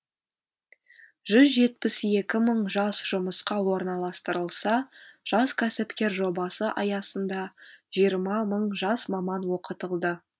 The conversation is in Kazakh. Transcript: жүз жетпіс екі мың жас жұмысқа орналастырылса жас кәсіпкер жобасы аясында жиырма мың жас маман оқытылды